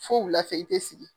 Fo wulafɛ i te sigi.